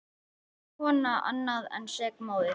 Sek kona annað en sek móðir.